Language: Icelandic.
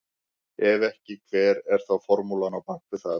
Ef ekki hver er þá formúlan á bak við það?